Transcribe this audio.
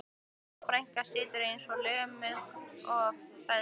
Fjóla frænka situr eins og lömuð af hræðslu.